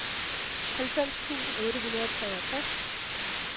halvfems tusind otte hundrede og treogtres